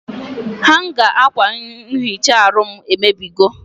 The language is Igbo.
Hanga akwa nhicha aru m emebigo